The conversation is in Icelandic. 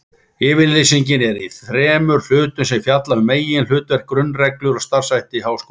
Yfirlýsingin er í þremur hlutum sem fjalla um meginhlutverk, grunnreglur og starfshætti háskóla.